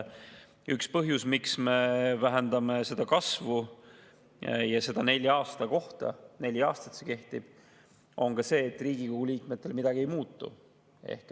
Üks põhjus, miks me vähendame seda kasvu, ja seda nelja aasta kohta – neli aastat see kehtib –, on ka see, et Riigikogu liikmetel midagi ei muutu.